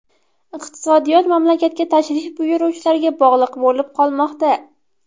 Iqtisodiyot mamlakatga tashrif buyuruvchilarga bog‘liq bo‘lib qolmoqda.